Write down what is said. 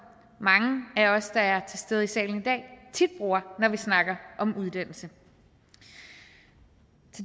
mange af os der er til stede i salen i dag tit bruger når vi snakker om uddannelse og